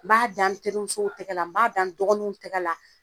N b'a da n terimusow tɛgɛ la n b'a da n dɔgɔninw tɛgɛ la